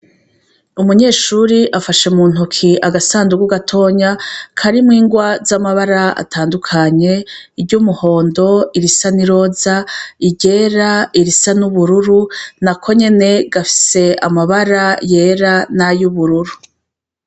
Umunyeshure afashe mu ntoki agasanduku gatonya karimwo ingwa z'amabara atandukanye: iry' umuhondo, irisa n'iroza, iryera, irisa n'ubururu, na ko nyene gafise amabara yera n'ay'ubururu.